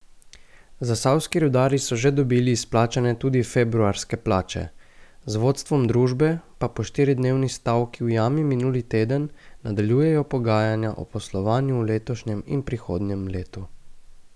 Zasavski rudarji so že dobili izplačane tudi februarske plače, z vodstvom družbe pa po štiridnevni stavki v jami minuli teden nadaljujejo pogajanja o poslovanju v letošnjem in prihodnjem letu.